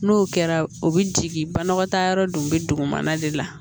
N'o kɛra o bi jigin banakɔ taa yɔrɔ dun be dugu mana de la